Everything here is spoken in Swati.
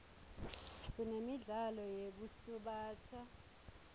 sinemidlalo yetekusubatsa